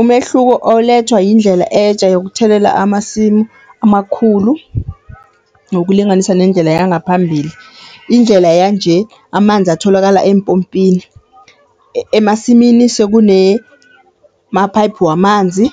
Umehluko olethwa yindlela etja yokuthelela amasimu amakhulu nokulinganisa nendlela yangaphambili. Indlela yanje, amanzi atholakala empompini, emasimini sekunemaphayiphu wamanzi